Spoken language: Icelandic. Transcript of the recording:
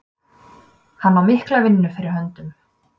Hann á mikla vinnu fyrir höndum.